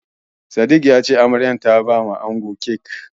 Sadik ya ce Amaryar ta bawa angon kek.